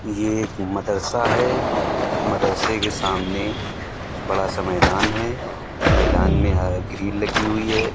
ये एक मदरसा है। मदरसे के सामने बड़ा-सा मैदान है। मैदान में ह ग्रिल लगी हुई है।